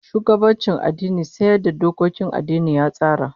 Shugabancin addini sai yadda dokokin addinin ya tsara